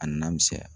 A nana misɛnya